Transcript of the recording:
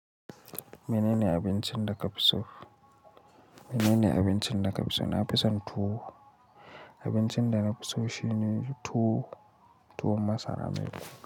Mene ne abincin da kafi so? Mene ne abincin da kafi so? Na fi son tuwo. Abincin da na fi so shine tuwo, tuwon masara ne.